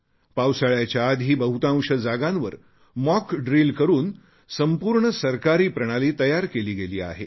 पावसाळ्याच्या आधी बहुतांश जागांवर मॉक ड्रील करून संपूर्ण सरकारी प्रणाली तयार केली गेली आहे